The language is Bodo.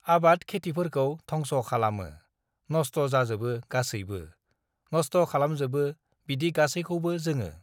"आबाद खेटिफोरखौ धंस' खालामो, नस्त' जाजोबो गासैबो, नस्त खालामजोबो बिदि गासैखौबो जोङो"।